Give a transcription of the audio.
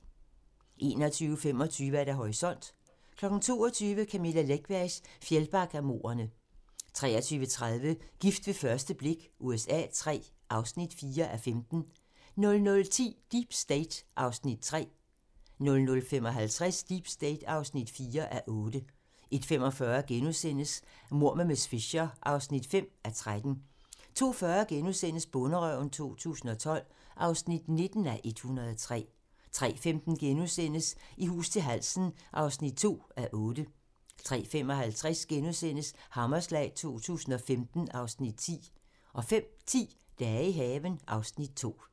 21:25: Horisont (tir) 22:00: Camilla Läckbergs Fjällbackamordene (tir) 23:30: Gift ved første blik USA III (4:15) 00:10: Deep State (3:8) 00:55: Deep State (4:8) 01:45: Mord med miss Fisher (5:13)* 02:40: Bonderøven 2012 (19:103)* 03:15: I hus til halsen (2:8)* 03:55: Hammerslag 2015 (Afs. 10)* 05:10: Dage i haven (Afs. 2)